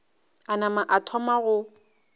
a nama a thoma go